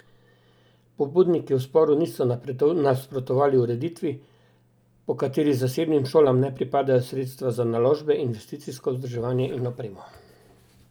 Pobudniki v sporu niso nasprotovali ureditvi, po kateri zasebnim šolam ne pripadajo sredstva za naložbe, investicijsko vzdrževanje in opremo.